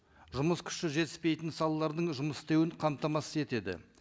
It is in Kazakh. жұмыс күші жетіспейтін салалардың жұмыс істеуін қамтамасыз етеді